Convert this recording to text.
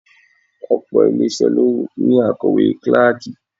Òpò ilé isẹ ló ní akowe kíláàkì.